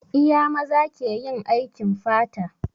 Iya maza ke yin aikin fata?